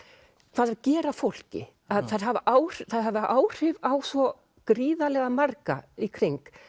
hvað þau gera fólki þau hafa áhrif hafa áhrif á svo gríðarlega marga í kring